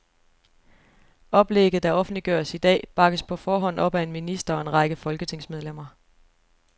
Oplægget, der offentliggøres i dag, bakkes på forhånd op af en minister og en række folketingsmedlemmer.